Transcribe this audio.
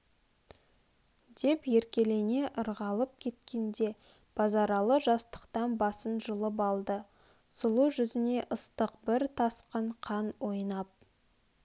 деп еркелене ырғалып кеткенде базаралы жастықтан басын жұлып алды сұлу жүзне ыстық бір тасқын қан ойнап